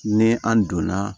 Ni an donna